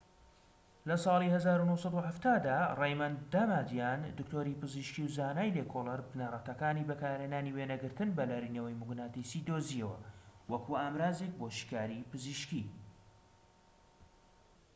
لە ساڵی ١٩٧٠ دا، رەیمەند دامادیان، دکتۆری پزیشکیی و زانای لێکۆڵەر بنەڕەتەکانی بەکارهێنانی وێنەگرتن بە لەرینەوەی موگناتیسیی دۆزیەوە وەکو ئامڕازێك بۆ شیکاریی پزیشکیی